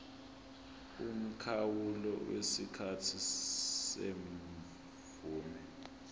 umkhawulo wesikhathi semvume